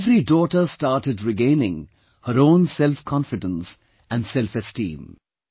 Every daughter started regaining her own self confidence & self esteem